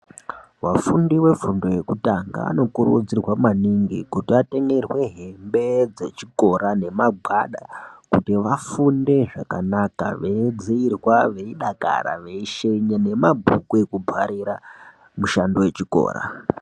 Wafundi wefundo yekutanga vanokurudzirwa maningi kuto vatengerwe hembe dzechikora nemagwada kuti vafunde zvakanaka ,veidziirwa ,veidakara, veishenya nemabhuku ekutwarira mushando yechikora.